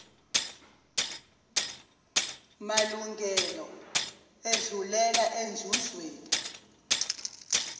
malungelo edlulela enzuzweni